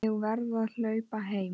Ég verð að hlaupa heim.